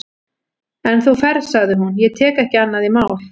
En þú ferð, sagði hún, ég tek ekki annað í mál.